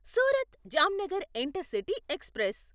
Surat Jamnagar intercity express